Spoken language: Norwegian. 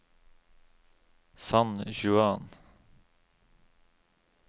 San Juan